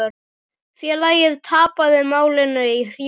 Félagið tapaði málinu í héraði.